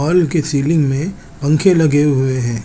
Hall की ceiling में पंखे लगे हुए हैं।